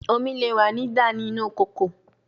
Omi le wa ni dà inu ikoko